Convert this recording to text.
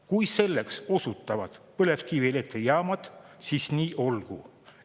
Kui selleks osutuvad põlevkivielektrijaamad, siis nii olgu.